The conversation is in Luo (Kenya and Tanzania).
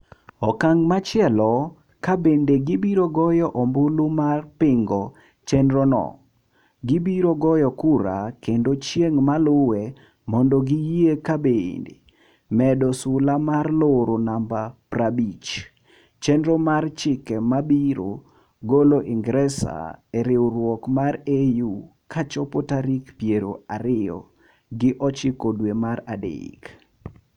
Okang' machielo ka bende gibiro goyo ombulu mar pingo chenro no, gibiro goyo kura kendo chieng ma luwe mondo giyie ka bende medo sula mar loro namba pra bich - chenro mar chike ma biro golo ingeresa e riwruok mar EU ka chop tarik piero ariyo gi ochiko dwe mar adek